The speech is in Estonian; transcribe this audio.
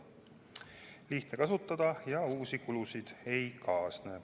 Seda on lihtne kasutada ja uusi kulusid ei kaasne.